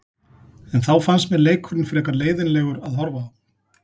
En þá fannst mér leikurinn frekar leiðinlegur að horfa á.